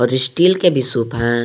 Steel के भी सुप है।